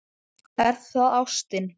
Er það ástin?